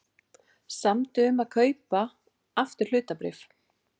Samdi um að kaupa aftur hlutabréf